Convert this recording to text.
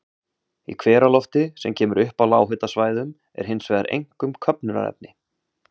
Í hveralofti, sem kemur upp á lághitasvæðunum, er hins vegar einkum köfnunarefni.